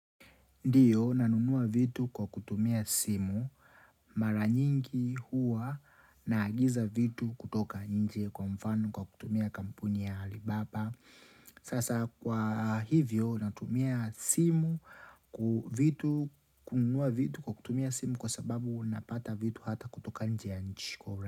Ndiyo, nanunua vitu kwa kutumia simu mara nyingi huwa naagiza vitu kutoka nje kwa mfano kwa kutumia kampuni ya Alibaba Sasa kwa hivyo natumia simu, vitu kununua vitu kwa kutumia simu kwa sababu napata vitu hata kutoka nje ya nchi kwa.